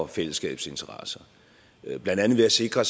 fællesskabets interesser blandt andet ved at sikre